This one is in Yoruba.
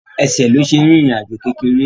Ẹsẹ̀ ló ṣe rìn ìrìn àjò kékeré